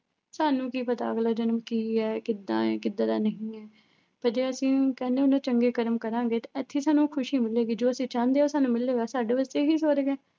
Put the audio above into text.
ਸਾਨੂੰ ਕੀ ਪਤਾ ਅਗਲਾ ਜਨਮ ਕੀ ਹੈ ਕਿੱਦਾਂ ਹੈ ਕਿੱਦਾਂ ਦਾ ਨਹੀਂ ਹੈ, ਤਦੇ ਅਸੀਂ ਕਹਿੰਦੇ ਹੁੰਦੇ ਆ ਚੰਗੇ ਕਰਮ ਕਰਾਂਗੇ ਤਾਂ ਇੱਥੇ ਸਾਨੂੰ ਖ਼ੁਸ਼ੀ ਮਿਲੇਗੀ ਜੋ ਅਸੀਂ ਚਾਹੁੰਦੇ ਆ, ਉਹ ਸਾਨੂੰ ਮਿਲੇਗਾ, ਸਾਡੇ ਵਾਸਤੇ ਇਹੀ ਸਵਰਗ ਹੈ।